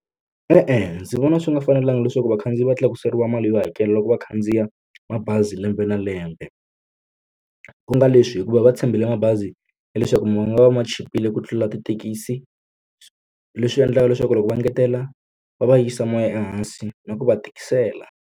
E-e ndzi vona swi nga fanelanga leswaku vakhandziyi va tlakuseriwa mali yo hakela loko va khandziya mabazi lembe na lembe ku nga leswi hikuva va tshembile mabazi ya leswaku ma nga va ma chipile ku tlula tithekisi leswi endlaka leswaku loko va engetela va va yisa moya ehansi na ku va tikisela.